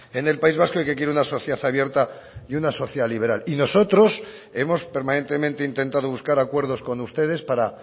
en el país vasco y que quiere una sociedad abierta y una sociedad liberal y nosotros hemos permanentemente intentado buscar acuerdos con ustedes para